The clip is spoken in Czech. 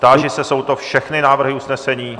Táži se, jsou to všechny návrhy usnesení?